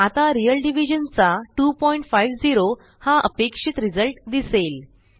आता real division चा 250 हा अपेक्षित रिझल्ट दिसेल